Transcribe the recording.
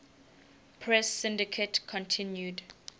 press syndicate continued